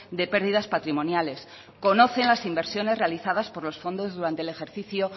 de pérdidas patrimoniales conocen las inversiones realizadas por los fondos durante el ejercicio